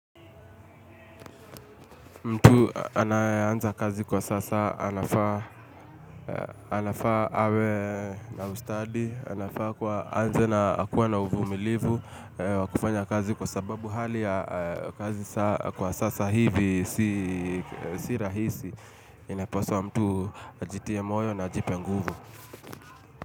Mtu anayeanza kazi kwa sasa anafaa anafaa awe na ustadi, anafaa kuwa aanze na akuwe na uvumilivu wa kufanya kazi kwa sababu hali ya kazi kwa sasa hivi si si rahisi, inapaswa mtu ajitie moyo na ajipe nguvu.